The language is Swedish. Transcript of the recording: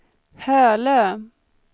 Hölö